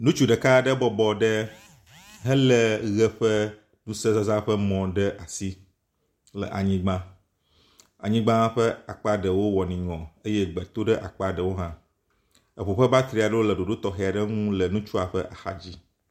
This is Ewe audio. nutsu ɖeka ɖe bɔbɔ ɖe hele ɣe ƒe ŋusezazã ɖe asi le anyigbã, anyigba ƒe akpaɖewo wɔ niŋɔ eye gbe tóɖe akpaɖewo hã, eʋu ƒe batriaɖewo le ɖoɖo tɔxɛaɖeŋu le nutsua ƒe axadzi